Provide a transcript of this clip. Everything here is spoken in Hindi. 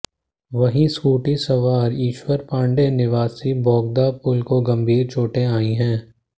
वहीं स्कूटी सवार ईश्वर पांडे निवासी बोगदा पुल को गंभीर चोटें आई हैं